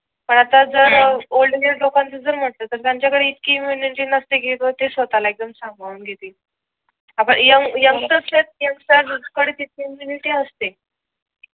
पण आता जर ओल्ड एज लोकांचे जे म्हणताय त्यांच्या कडे इतकी इम्युनिटी नसते कि ते स्वतः ला एकदम सांभाळून घेतील. आपण यंग यंगस्टर कडे इतकी इम्युनिटी असते